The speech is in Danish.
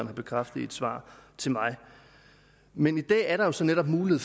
har bekræftet i et svar til mig men i dag er der jo så netop mulighed